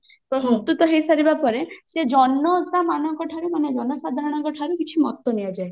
ପ୍ରସ୍ତୁତ ହେଇସାରିବା ପରେ ସେ ଜନତା ମାନଙ୍କ ଠାରୁ ମାନେ ଜନସାଧାରଣଙ୍କ ଠାରୁ କିଛି ମତ ନିଆଯାଏ